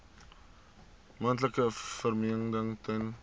moontlike vervreemding ten